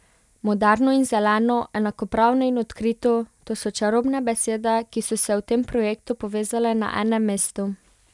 Moderno in zeleno, enakopravno in odkrito, to so čarobne besede, ki so se v tem projektu povezale na enem mestu.